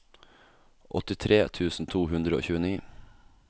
åttitre tusen to hundre og tjueni